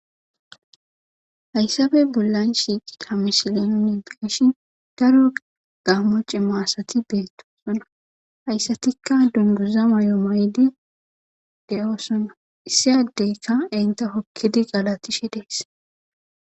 hayssappe bollan shiiqida misilenunideeshi daro gaammo cimma asati beettoosona hayssatikka dunguza mayo maydi de7oosona issi addeykka enta hokkidi galatishe dees